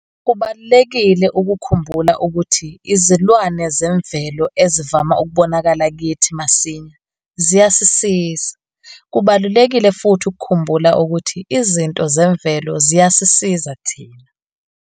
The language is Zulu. Kubalulekile ukukhumbula ukuthi izilwane zemvelo ezivama ukubonakala kithi masinya ziyasisiza. Kubalulekile futhi ukuhumbula ukuthi izinto zemvelo ziyasisiza thina.